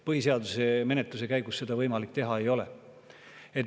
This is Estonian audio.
Põhiseaduse menetluse käigus seda ei ole võimalik teha.